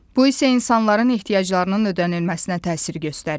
Bu isə insanların ehtiyaclarının ödənilməsinə təsir göstərir.